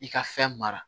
I ka fɛn mara